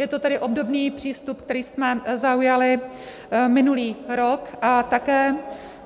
Je to tedy obdobný přístup, který jsme zaujali minulý rok, a také